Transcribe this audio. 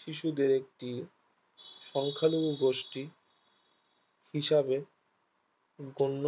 শিয়াদের একটি সংখ্যালঘু গোষ্ঠী হিসাবে গণ্য